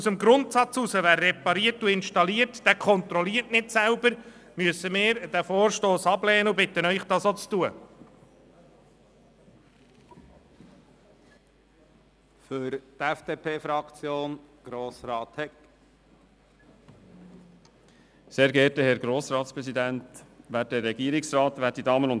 Ausgehend vom Grundsatz, dass wer repariert und installiert nicht selber kontrolliert, müssen wir diesen Vorstoss ablehnen und bitten Sie, dies auch zu tun.